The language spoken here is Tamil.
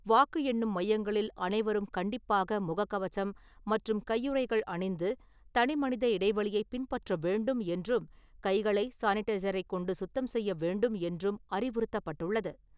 வாக்கு எண்ணும் மையங்களில் அனைவரும் கண்டிப்பாக முகக்கவசம் மற்றும் கையுறைகள் அணிந்து, தனிமனித இடைவெளியைப் பின்பற்ற வேண்டும் என்றும் கைகளை சானிடைசரைக் கொண்டு சுத்தம் செய்ய வேண்டும் என்றும் அறிவுறுத்தப்பட்டுள்ளது.